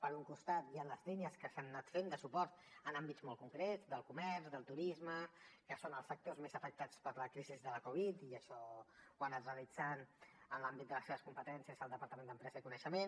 per un costat hi ha les línies que s’han anat fent de suport en àmbits molt concrets del comerç del turisme que són els sectors més afectats per la crisi de la covid i això ho ha anat realitzant en l’àmbit de les seves competències el departament d’empresa i coneixement